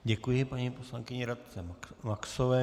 Děkuji paní poslankyni Radce Maxové.